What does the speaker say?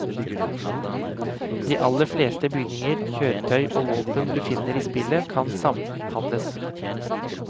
De aller fleste bygninger, kjøretøy og våpen du finner i spillet, kan samhandles.